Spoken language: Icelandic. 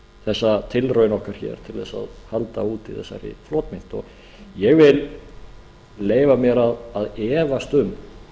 þessa tilraun okkar hér til þess að halda úti þessari flotmynt og ég vil leyfa mér að efast um